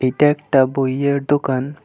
এটা একটা বইয়ের দোকান।